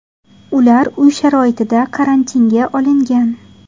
Ular uy sharoitida karantinga olingan.